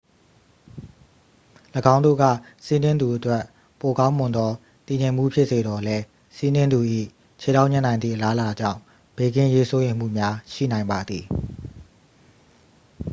၎င်းတို့က စီးနင်းသူအတွက် ပိုကောင်းမွန်သော တည်ငြိမ်မှု ဖြစ်စေသော်လည်း စီးနင်းသူ၏ ခြေထောက်ညှပ်နိုင်သည့် အလားအလာကြောင့် ဘေးကင်းရေး စိုးရိမ်မှုများ ရှိနိုင်ပါသည်